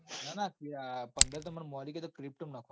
ના ના પંદર તો મૌલિકયાએ pto માં નાખવામાં